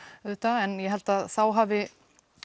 auðvitað en ég held að þá hafi